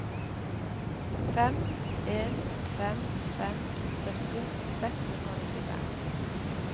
fem en fem fem sytti seks hundre og nittifem